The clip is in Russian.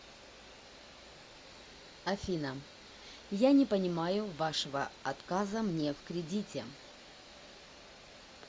афина я не понимаю вашего отказа мне в кредите